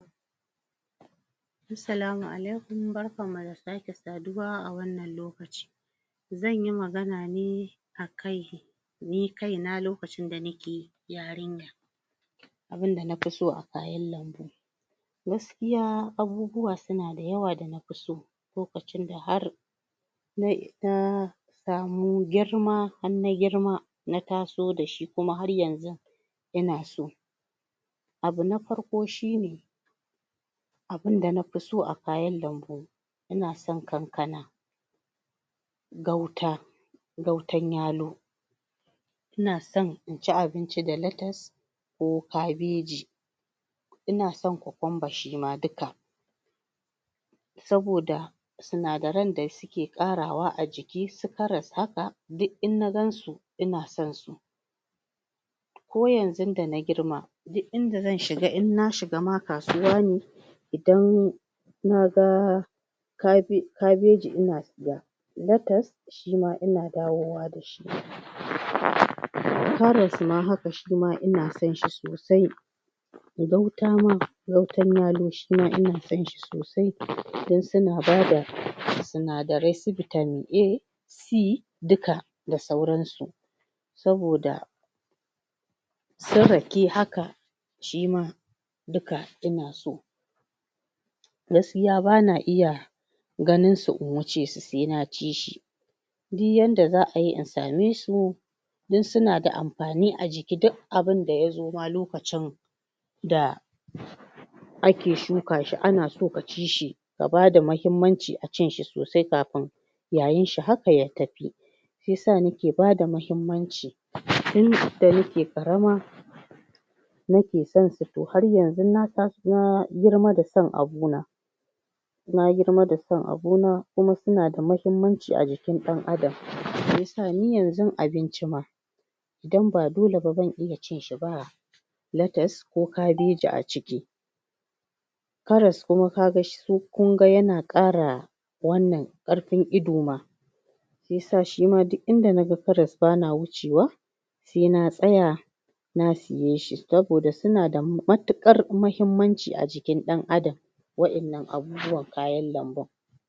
Assalamu alaikum barkanmu da sake saduwa a wannan lokaci zan yi magana ne akan ni kaina lokacin da nake yarinya abinda na fi so a kayan lambu gaskiya abubuwa suna da yawa da na fi so lokacin da har? samu girma har na girma na taso da shi kuma har yanzun ina so abu na farko shi ne abinda na fi so a kayan lambu ina son Kankana Gauta Gautan Yalo ina son in ci abinci da latas ko kabeji ina son kokunba shi ma duka saboda sinadaran da suke ƙarawa a jiki su karas haka duk in na gansu ina son su ko yanzun da na girma duk inda zan shiga in na shiga ma kasuwa ne idan naga Kabeji ina siya latas shi ma ina dawowa da shi? Karas shi ma haka ina son shi sosai?? ina son shi sosai don suna bada sinadarai su Vitamin A C duka da sauransu saboda su Rake haka shi ma duka ina so gaskiya bana iya ganinsu in wuce su sai na ci shi diy yadda za ai yi in same su don suna da amfani a jiki duk abinda ya zo ma lokacin da kake shuka shi ana so ka ci shi ya bada muhimmanci a cin shi sosai kafin yayin shi haka ya tafi shi ya sa nake bada muhimmanci? tun da nake ƙarama nake son su to har yanzun na tashi na girma da son abuna na girma da son abuna kuma suna da muhimmanci a jikin ɗan adam? ni yanzun abinci ma idan ba dole ban iya cin shi ba latas ko Kabeji a ciki karas kuma ka ga kun ga yana ƙara wannan ƙarfin ido ma shi ya sa shi ma duk inda naga Karas bana wucewa se na tsaya na siye shi saboda suna da matuƙar muhimmanci a jikin ɗan adam wa'yannan abubuwan kayan lambun